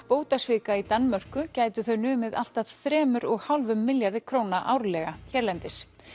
bótasvika í Danmörku gætu þau numið allt að þremur og hálfum milljarði króna árlega hérlendis